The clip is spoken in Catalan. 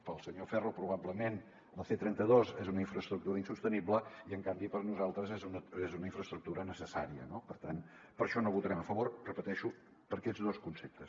pel senyor ferro probablement la c trenta dos és una infraestructura insostenible i en canvi per nosaltres és una infraestructura necessària no per tant per això no hi votarem a favor ho repeteixo per aquests dos conceptes